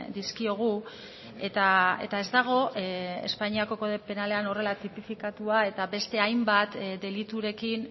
dizkiogu eta ez dago espainiako kode penalean horrela tipifikatua eta beste hainbat deliturekin